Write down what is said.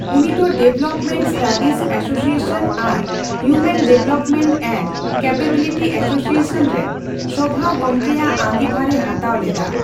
ᱩᱱᱤ ᱫᱚ development studies association ᱟᱨ human development and capability association ᱨᱮᱱ ᱥᱚᱵᱷᱟᱜᱚᱝᱠᱮᱭᱟᱜ ᱟᱸᱜᱤᱵᱷᱟᱨᱮ ᱦᱟᱛᱟᱣ ᱞᱮᱫᱟ᱾